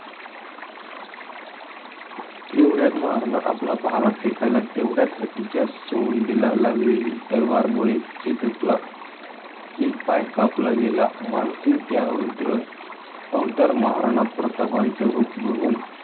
एवढ्यात महाराणा आपला भाला फेकायला, तेवढ्यात हत्तीच्या सोंडेला लागलेली तलवारमुळे चेतकला एक पाय कापला गेला. मानसिंग त्या रुद्र अवतार महाराणा प्रतापांच रूप बघून